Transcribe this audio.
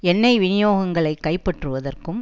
எண்ணெய் விநியோகங்களை கைப்பற்றுவதற்கும்